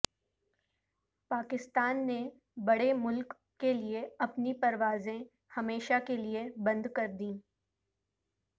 پاکستان نے بڑے ملک کیلئے اپنی پروازیں ہمیشہ کیلئے بند کردیں